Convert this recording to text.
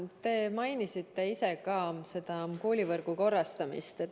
Te mainisite ka ise koolivõrgu korrastamist.